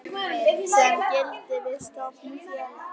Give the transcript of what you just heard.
sem gildir við stofnun félags.